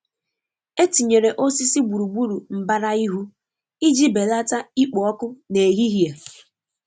E tinyere osisi gburugburu mbara ihu iji belata ikpo ọkụ n'ehihie.